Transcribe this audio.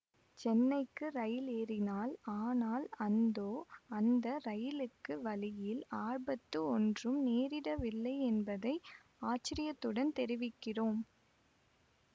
சென்னைக்கு ரயில் ஏறினாள் ஆனால் அந்தோ அந்த ரயிலுக்கு வழியில் ஆபத்து ஒன்றும் நேரிடவில்லையென்பதை ஆச்சரியத்துடன் தெரிவிக்கிறோம்